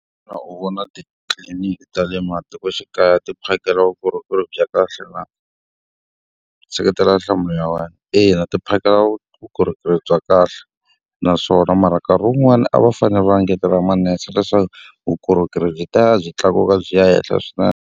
Xana u vona titliliniki ta le matikoxikaya ti phakela vukorhokeri bya kahle na? Seketela nhlamusela ya wena. Ina ti phakela vukorhokeri bya kahle, naswona mara nkarhi wun'wani a va fanele va engetela manese leswaku vukorhokeri byi tiya byi tlakuka byi ya henhla swinene.